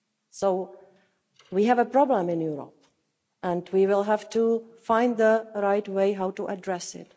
So, we have a problem in Europe and we will have to find the right way to address